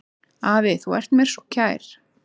Afi, þú ert mér svo kær.